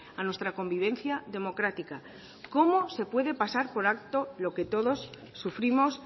a nuestra convivencia democrática cómo se puede pasar por alto lo que todos sufrimos